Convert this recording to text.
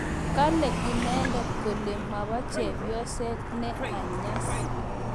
kale inendet kole ma chepyoset ne anyas